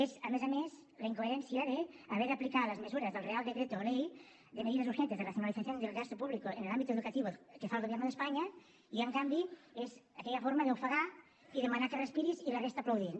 és a més a més la incoherència d’haver d’aplicar les mesures del real decreto ley de medidas urgentes de racionalización del gasto público en el ámbito educativo que fa el gobierno de españa i en canvi és aquella forma d’ofegar i demanar que respiris i la resta aplaudint